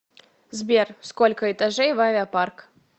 сбер сколько этажей в авиапарк